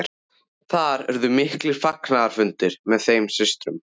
Þar urðu miklir fagnaðarfundir með þeim systrum.